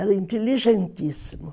Era inteligentíssimo.